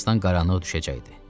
Birazdan qaranlıq düşəcəkdi.